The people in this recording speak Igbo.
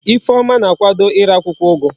Ifeoma na akwado ire akwukwo ugu